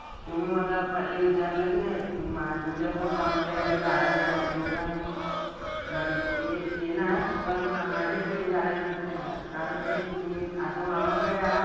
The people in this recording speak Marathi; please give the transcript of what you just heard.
तुम्ही मला पहिले विचारलं की नाही तुमच्यासोबत मामाच्या घरी राहायला जा येऊ का नाही. म्हणजे मी येणार पण माझी trip झाल्यानंतर येणार. कारण की तुम्ही आता मामाकडे आहात?